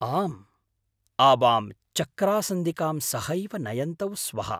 आम्, आवां चक्रासन्दिकां सहैव नयन्तौ स्वः।